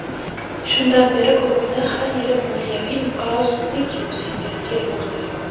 Shundan beri klubda har yili moliyaviy inqirozlik yuzaga kelmoqda.